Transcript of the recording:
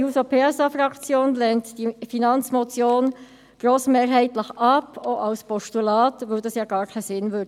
Die SP-JUSO-PSA-Fraktion lehnt die Finanzmotion grossmehrheitlich ab, auch als Postulat, weil dies gar keinen Sinn machen würde.